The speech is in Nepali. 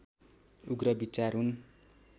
उग्र विचार हुन्